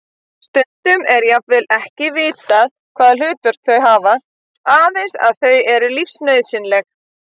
Stundum er jafnvel ekki vitað hvaða hlutverk þau hafa, aðeins að þau eru lífsnauðsynleg.